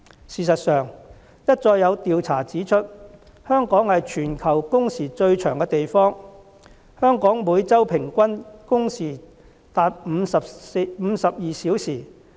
事實上，一再有調查指出，香港是全球工時最長的地方，香港每周平均工時達52小時。